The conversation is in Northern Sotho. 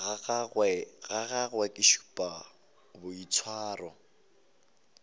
ga gagwe ke šupa boitshwaro